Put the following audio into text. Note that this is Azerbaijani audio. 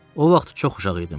O vaxt çox uşaq idim.